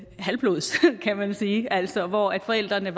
halvblods kan man sige altså hvor forældrene